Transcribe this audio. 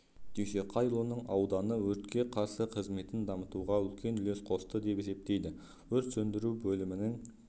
дүйсеқайұлының ауданы өртке қарсы қызметін дамытуға үлкен үлес қосты деп есептейді өрт сөндіру бөлімінің